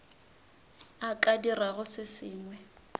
a ka dirago se sengwe